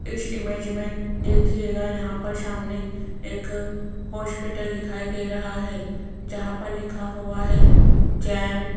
इस इमेज में देखिएगा यहां पर सामने एक हॉस्पिटल दिखाई दे रहा है जहां पर लिखा हुआ है जैन --